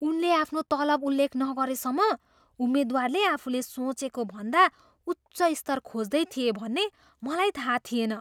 उनले आफ्नो तलब उल्लेख नगरेसम्म उम्मेद्वारले आफूले सोचेको भन्दा उच्च स्तर खोज्दै थिए भन्ने मलाई थाहा थिएन।